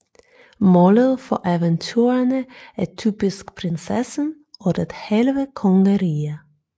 Målet for eventyrene er typisk prinsessen og det halve kongerige